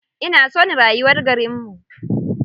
Ina son rayuwar garinmu.